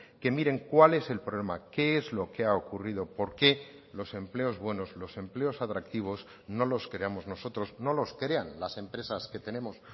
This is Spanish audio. que miren cuál es el problema qué es lo que ha ocurrido por qué los empleos buenos los empleos atractivos no los creamos nosotros no los crean las empresas que tenemos